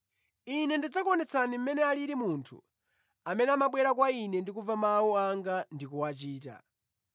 Ine ndidzakuonetsani mmene alili munthu amene amabwera kwa Ine ndi kumva mawu anga ndi kuwachita.